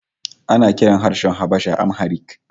Ana kiran harshen Habasha Amharic